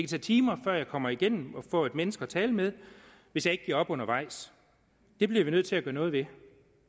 tage timer før jeg kommer igennem og får et menneske at tale med hvis jeg ikke giver op undervejs der bliver vi nødt til at gøre noget ved